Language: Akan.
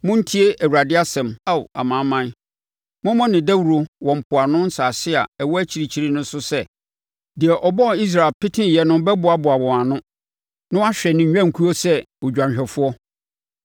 “Montie Awurade asɛm, Ao amanaman; mommɔ no dawuro wɔ mpoano nsase a ɛwɔ akyirikyiri so sɛ, ‘Deɛ ɔbɔɔ Israel peteeɛ no bɛboaboa wɔn ano na wahwɛ ne nnwankuo so sɛ odwanhwɛfoɔ.’